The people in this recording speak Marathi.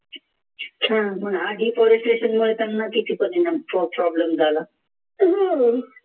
आधी त्यांना किती problem झाला